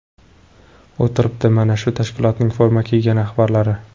O‘tiribdi, mana, shu tashkilotning forma kiygan rahbarlari.